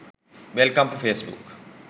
welcome to facebook